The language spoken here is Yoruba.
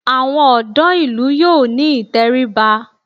Àwọn ọ̀dọ́ ìlú yóò ní ìtẹríba